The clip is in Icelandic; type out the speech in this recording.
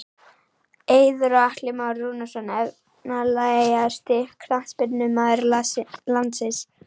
Eiður og Atli Már Rúnarsson Efnilegasti knattspyrnumaður landsins?